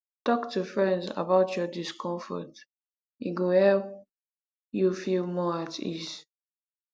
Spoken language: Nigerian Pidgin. talk to friends about your discomfort e go help you feel more at ease